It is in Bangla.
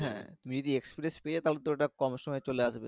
হ্যাঁ তুমি যদি express পেয়ে যাও তাহলে কম সময়ে চলে আসবে